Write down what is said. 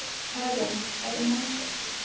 Karin, hvað er í matinn?